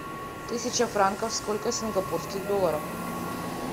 тысяча франков сколько сингапурских долларов